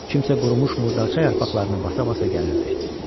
Kimsə qurumuş murdarça yarpaqlarını basa-basa gəlirdi.